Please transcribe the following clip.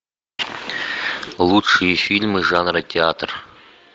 лучшие фильмы жанра театр